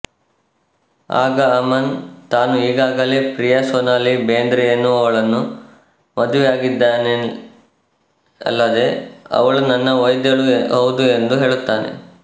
ಆಗ ಅಮನ್ ತಾನು ಈಗಾಗಲೇ ಪ್ರಿಯಾ ಸೊನಾಲಿ ಬೇಂದ್ರೆಎನ್ನುವವಳನ್ನು ಮದುವೆಯಾಗಿದ್ದೇನೆಅಲ್ಲದೇ ಅವಳು ನನ್ನ ವೈದ್ಯಳೂ ಹೌದು ಎಂದು ಹೇಳುತ್ತಾನೆ